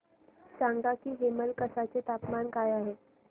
सांगा की हेमलकसा चे तापमान काय आहे